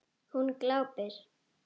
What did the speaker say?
Hún glápir.